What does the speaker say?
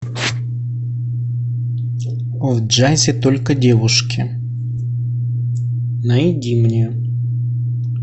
в джазе только девушки найди мне